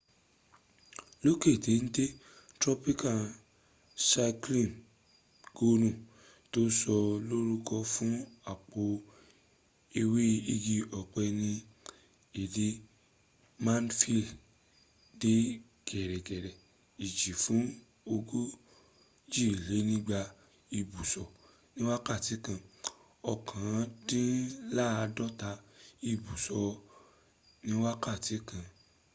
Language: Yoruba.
lókè tẹ́ntẹ́n, tropical cyclone gonu ti sọ lórúkọ fún àpò ẹwẹ́ igi ọ̀pẹ ni èdè maldives dẹ gẹ̀rẹ́gẹ̀rẹ́ ìjì fún ogójìlénígba ìbùsọ̀ ní wákàtí kan òkàndínládọ́ta ìbùsọ̀ ni wákàtí kan